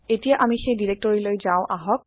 এতিয়া আামি সেই ডিৰেক্টৰিলৈ যাওঁ আহক